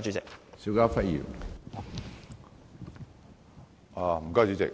主席，我